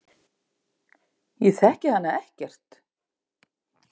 Ég þekki hana ekkert.